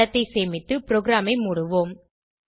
படத்தை சேமித்து ப்ரோகிராமை மூடுவோம்